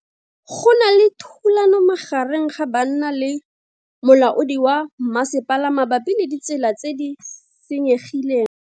Go na le thulano magareng ga banna le molaodi wa masepala mabapi le ditsela tse di senyegileng.